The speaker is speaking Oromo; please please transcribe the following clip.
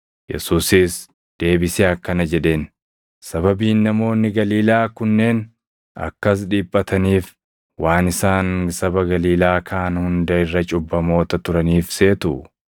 Yesuusis deebisee akkana jedheen; “Sababiin namoonni Galiilaa kunneen akkas dhiphataniif waan isaan saba Galiilaa kaan hunda irra cubbamoota turaniif seetuu?